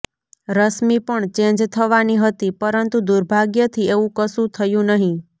રશ્મિ પણ ચેન્જ થવાની હતી પરંતુ દુર્ભાગ્યથી એવું કશું થયું નહીં